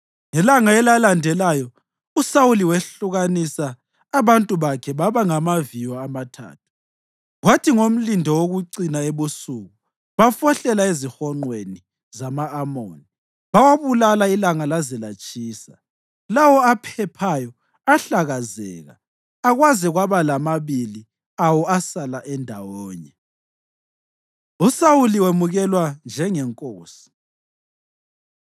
Ngelanga elalandelayo uSawuli wehlukanisa abantu bakhe baba ngamaviyo amathathu; kwathi ngomlindo wokucina ebusuku bafohlela ezihonqweni zama-Amoni bawabulala ilanga laze latshisa. Lawo aphephayo ahlakazeka, akwaze kwaba lamabili awo asala endawonye. USawuli Wemukelwa Njengenkosi